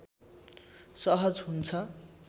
सहज हुन्छ